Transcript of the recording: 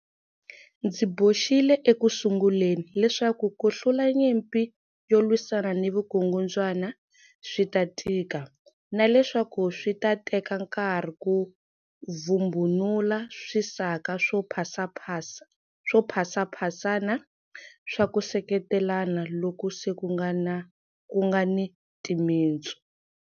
Ndzi boxile ekusunguleni leswaku ku hlula nyimpi yo lwisana ni vukungundzwana swi ta tika, na leswaku swi ta teka nkarhi ku vhumbunula swisaka swo phasaphasana swa ku seketelana loku se ku nga ni timitsu.